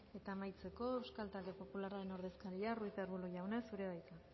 eta amaitzeko euskal talde popularraren ordezkaria ruiz de arbulo jauna zurea da hitza